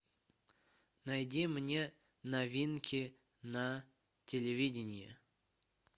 найди мне новинки на телевидении